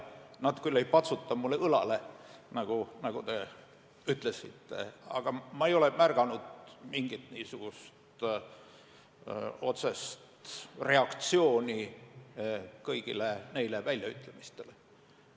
Nad küll ei patsuta mulle õlale, nagu te ütlesite, aga ma ei ole märganud mingit otsest reaktsiooni kõigile neile väljaütlemistele.